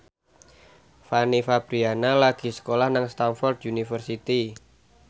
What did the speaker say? Fanny Fabriana lagi sekolah nang Stamford University